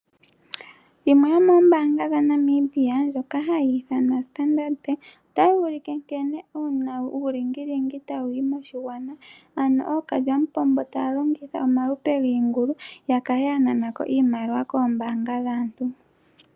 Yimwe yoomoombanga dhaNamibia, ndjoka hayi ithanwa Standard Bank, otayi ulike nkene uulingilingi tawuyi moshigwana, ano ookalyamupombo taya longitha omalupe giingulu yakale ya nanako iimaliwa koombaanga dhaantu.